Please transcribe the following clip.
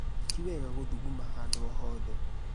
Ti wega gũthuguma handu o hothe